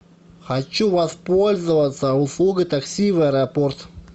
хочу воспользоваться услугой такси в аэропорт